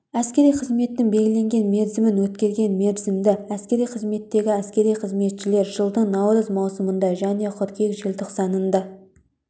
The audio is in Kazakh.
әскери қызметтің белгіленген мерзімін өткерген мерзімді әскери қызметтегі әскери қызметшілер жылдың наурыз маусымында және қыркүйек желтоқсанында